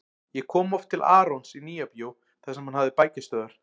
Ég kom oft til Arons í Nýja-bíó þar sem hann hafði bækistöðvar.